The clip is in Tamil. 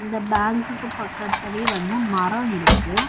இந்த பேங்குக்கு பக்கத்லவே வந்து மரோ இருக்கு.